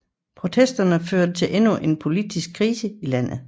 Protesterne førte til endnu en politisk krise i landet